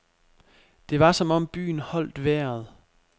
Det var som om byen holdt vejret.